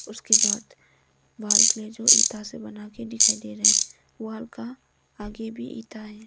उसके बाद वॉल के लिए जो इंटा से बना के दिखाई दे रहे हैं वाल का आगे भी इंटा है।